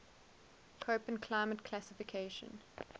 koppen climate classification